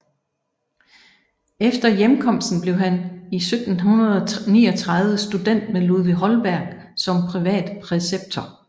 Efter hjemkomsten blev han 1739 student med Ludvig Holberg som privatpræceptor